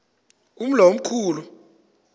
umlo omkhu lu